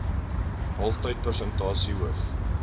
kalftyd persentasie hoof